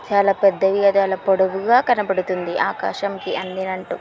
చాలా పెద్ధయి గదాల పొడువుగా కనపడుతుంది. ఆకాశం కి అందినంటు--